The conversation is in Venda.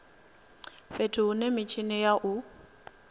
fhethu hune mitshini ya u